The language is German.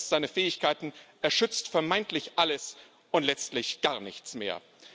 Er überschätzt seine Fähigkeiten, er schützt vermeintlich alles und letztlich gar nichts mehr.